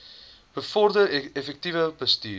bevorder effektiewe bestuur